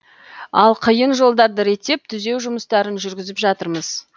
ал қиын жолдарды реттеп түзеу жұмыстарын жүргізіп жатырмыз